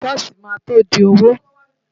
Ṣọ́ọ̀ṣì máa tó di òwò.